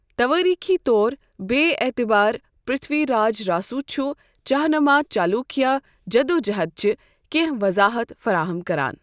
توٲريخی طوربے٘ اعتبار پر٘تھوی راج راسو چھُ چاہمانا چاولوکیا جدوٗجہد چہِ كینہہ وضاحت فراہم كران